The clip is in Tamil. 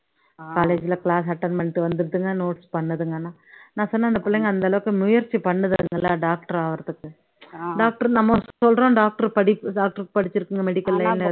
college ல class attend பண்ணிட்டு வந்துருதுங்க notes பண்ணுதுங்கன்னா நான் சொன்னேன் அந்த புள்ளைங்க அந்த அளவுக்கு முயற்சி பண்ணுதுங்கல்ல doctor ஆகுறதுக்கு doctor நம்ம சொல்றோம் doctor படி doctor க்கு படிச்சுருக்குங்க medical line ல